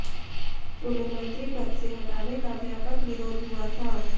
उन्हें मंत्री पद से हटाने का व्यापक विरोध हुआ था